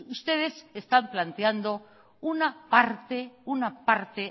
ustedes están planteando una parte